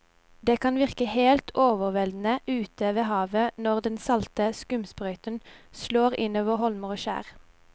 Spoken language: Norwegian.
Det kan virke helt overveldende ute ved havet når den salte skumsprøyten slår innover holmer og skjær.